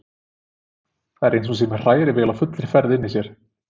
Það er eins og hún sé með hrærivél á fullri ferð inni í sér.